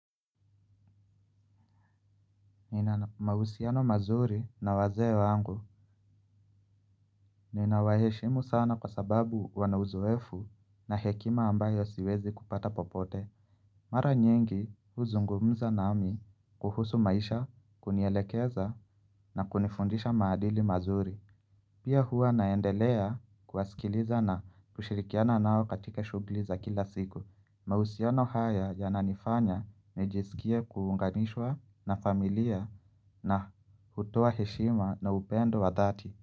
Nina mahusiano mazuri na wazee wangu nina waheshimu sana kwa sababu wanauzoefu na hekima ambayo siwezi kupata popote. Mara nyingi huzungumza nami kuhusu maisha kunielekeza na kunifundisha maadili mazuri pia huwa naendelea kuwasikiliza na kushirikiana nao katika shuguli za kila siku mahusiano haya yananifanya nijisikie kuunganishwa na familia na hutoa heshima na upendo wa dhati.